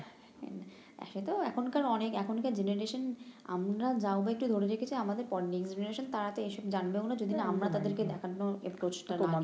একেতো এখনকার অনেক এখনকার আমরা যাও বা একটু ধরে রেখেছি আমাদের পরে তারা তো এসব জানবেও না যদি না আমরা তাদেরকে দেখানোর টা না নি